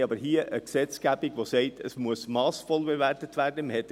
Wir haben aber eine Gesetzgebung, welche besagt, dass massvoll bewertet werden muss.